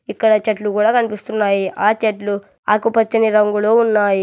ఇక్కడ చెట్లు కూడా కన్పిస్తున్నాయి ఆ చెట్లు ఆకుపచ్చని రంగులో ఉన్నాయి.